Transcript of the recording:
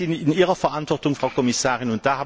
Das ist in Ihrer Verantwortung, Frau Kommissarin.